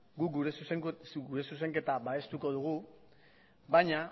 guk gure zuzenketa babestuko dugu baina